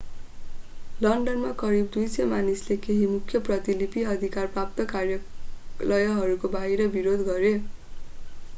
लन्डनमा करिब 200 मानिसले केही मुख्य प्रतिलिपि अधिकार प्राप्त कार्यालयहरूको बाहिर विरोध गरे